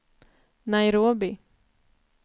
Nairobi